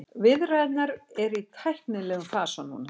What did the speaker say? Viðræðurnar eru í tæknilegum fasa núna